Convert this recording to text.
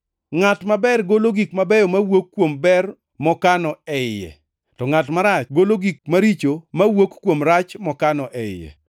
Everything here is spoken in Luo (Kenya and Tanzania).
Ngʼat maber golo gik mabeyo mawuok kuom ber mokano e iye, to ngʼat marach golo gik maricho mawuok kuom rach mokano e iye.